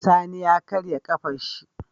Sani ya karya kafar shi